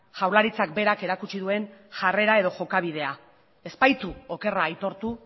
jaurlaritzak berak erakutsi duen jarrera edo jokabidea ez baitu okerra aitortu